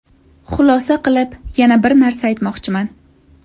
Xulosa qilib, yana bir narsa aytmoqchiman.